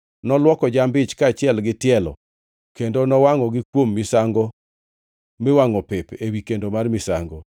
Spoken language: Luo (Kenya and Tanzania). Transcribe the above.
Nolwoko jamb-ich kaachiel gi tielo kendo nowangʼogi kuom misango miwangʼo pep ewi kendo mar misango.